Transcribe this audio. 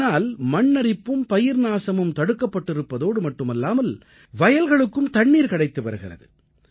இதனால் மண் அரிப்பும் பயிர்நாசமும் தடுக்கப்பட்டிருப்பதோடு மட்டுமல்லாமல் வயல்களுக்கும் தண்ணீர் கிடைத்து வருகிறது